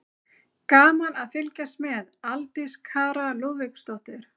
Gaman að fylgjast með: Aldís Kara Lúðvíksdóttir.